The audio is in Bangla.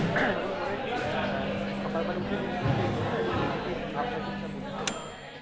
এখন মনে হয় কি? আহ সকাল বেলা উঠে যে news দেখবো না? একটা negative ভাবনাচিন্তা মনে চলে আসে।